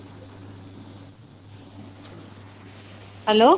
hello